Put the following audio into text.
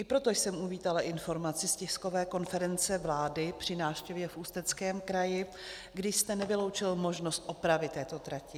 I proto jsem uvítala informaci z tiskové konference vlády při návštěvě v Ústeckém kraji, kdy jste nevyloučil možnost opravy této trati.